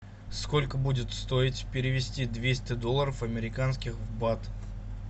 сколько будет стоить перевести двести долларов американских в бат